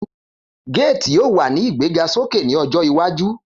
Gates yoo wa ni igbegasoke ni ojo iwaju.